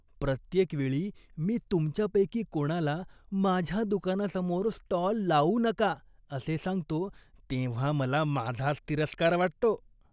प्रत्येक वेळी मी तुमच्यापैकी कोणाला माझ्या दुकानासमोर स्टॉल लावू नका असे सांगतो तेव्हा मला माझाच तिरस्कार वाटतो.